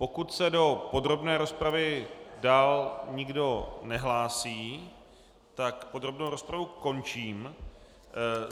Pokud se do podrobné rozpravy dál nikdo nehlásí, tak podrobnou rozpravu končím.